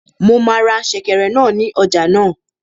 Mo máa ra sèkẹ̀rẹ̀ náà ní ọjà náà